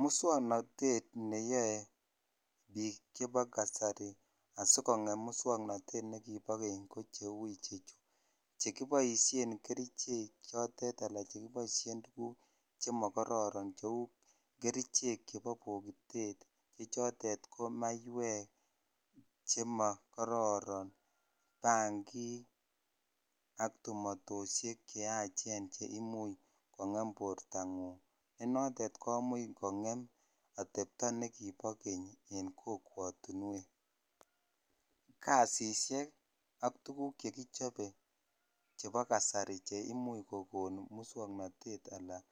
Muswoknatet neyoe biik chebo kasari asikongem muswoknatet nekibo keny ko cheu ichechu. Chekiboisien kerichek chotet anan che kiboisien tuguk chemokororon cheu kerichek chebo bokitet chechotet ko maiywek chema kororon. Bangik ak tumatoisiek che yachen che imuch kongem bortangung ne notet komuch kongem atepto nekibo keny en kokwatunwek. Kasisiek ak tuguk chekichobe chebo kasari che imuch kokon muswoknatet anan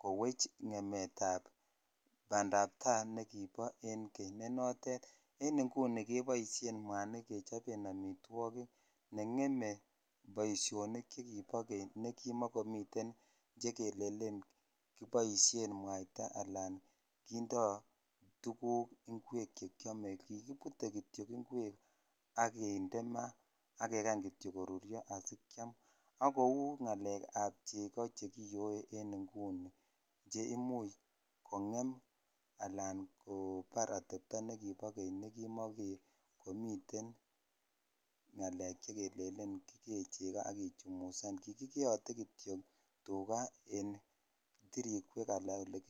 kowech ngemetab bandapta nekibo keny ne notet en inguni keboisien mwanik kechoben amitwogik, nengeme boisionik chekibo keny nekimakomiten chekelenen kiboisien mwaita alan kindo tuguk che kiame. Kikibute kityo ingwek ak kinde ma ak kekany kityo asikiam ak kou ngalekab chego che kiyoe en inguni che imuch kongem anan kobar atepto nekiba keny ne kimakomiten ngalek che kelenen kigee chego ak kichumusan. Kikikeyote kityo tuga en tirikwek anan olekir.